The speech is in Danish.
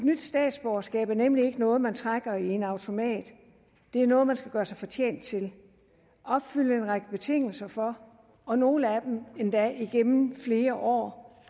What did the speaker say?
nyt statsborgerskab er nemlig ikke noget man trækker i en automat det er noget man skal gøre sig fortjent til opfylde en række betingelser for og nogle af dem endda igennem flere år